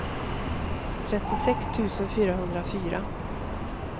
trettiosex tusen fyrahundrafyra